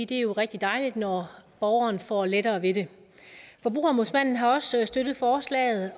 det er rigtig dejligt når borgeren får lettere ved det forbrugerombudsmanden har også støttet forslaget